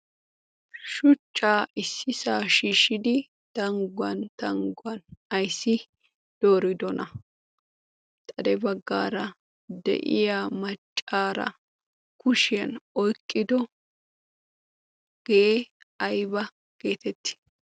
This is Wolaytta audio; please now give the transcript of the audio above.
shucchaa issi saashiishshidi tangguwan tangguwan ayssi dooridona ? xade baggaara de'iya maccaara kushiyan oyqqido' gee ayba geetetti?